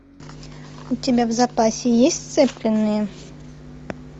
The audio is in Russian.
у тебя в запасе есть сцепленные